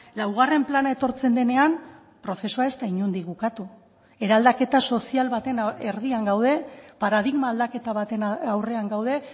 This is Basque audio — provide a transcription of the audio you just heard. laugarren plana etortzen denean prozesua ez da inondik bukatu eraldaketa sozial baten erdian gaude paradigma aldaketa baten aurrean gaude